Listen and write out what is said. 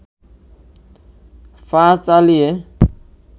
পা চালিয়ে